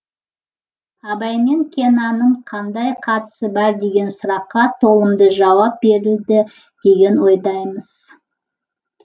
абай мен кеннанның қандай қатысы бар деген сұраққа толымды жауап берілді деген ойдамыз